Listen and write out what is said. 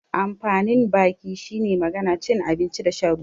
Amfanin baki shine magana, cin abinci da shan ruwa.